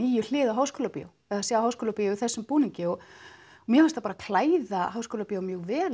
Háskólabíó sjá Háskólabíó í þessum búningi og mér fannst það bara klæða Háskólabíó mjög vel